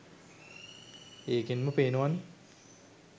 ඒකෙන්ම පේනවනේ